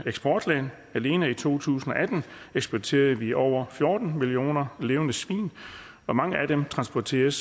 eksportland alene i to tusind og atten eksporterede vi over fjorten millioner levende svin og mange af dem transporteres